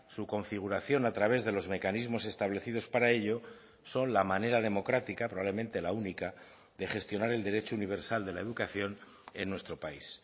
su configuración a través de los mecanismos establecidos para ello son la manera democrática probablemente la única de gestionar el derecho universal de la educación en nuestro país